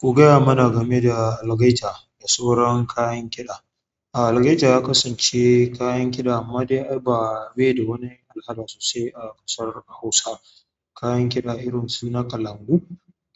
Ku gaya mana game da algaita da sauran kayan kiɗa. A algaita ya kasance kayan kiɗa amma dai ba bai da wani alaƙa sosai a ƙasar Hausa. Kayan kiɗa irin su nikalangu,